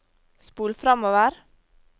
spol framover